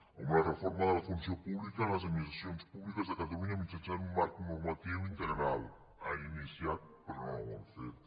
a una reforma de la funció pública de les administracions públiques de ca·talunya mitjançant un marc normatiu integral l’han iniciat però no l’han fet